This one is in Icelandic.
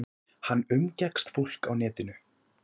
Hann umgekkst fólk á netinu.